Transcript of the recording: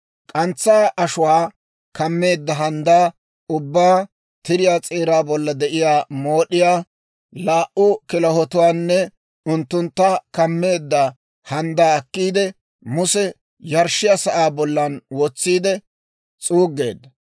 K'antsaa ashuwaa kammeedda handdaa ubbaa, tiriyaa s'eeraa bolla de'iyaa mood'iyaa, laa"u kilahotuwaanne unttuntta kammeedda handdaa akkiide, Muse yarshshiyaa sa'aa bollan wotsiide s'uuggeedda.